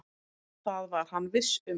Það var hann viss um.